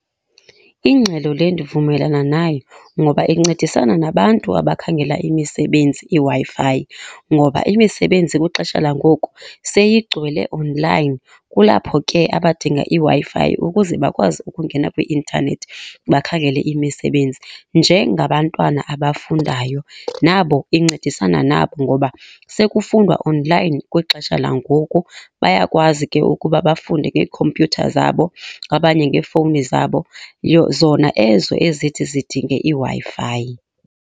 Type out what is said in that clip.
Ingxelo le ndivumelana nayo ngoba incedisana nabantu abakhangela imisebenzi iWi-Fi, ngoba imisebenzi kwixesha langoku seyigcwele onlayini. Kulapho ke abadinga iWi-Fi ukuze bakwazi ukungena kwi-intanethi bakhangele imisebenzi. Njengabantwana abafundayo nabo incedisana nabo ngoba sekufundwa onlayini kwixesha langoku. Bayakwazi ke ukuba bafunde ngeekhompuyutha zabo abanye ngefowuni zabo, zona ezo ezithi zidinge iWi-Fi.